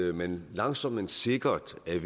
at man langsomt men sikkert er